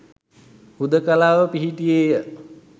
හුදකලාව පිහිටියේය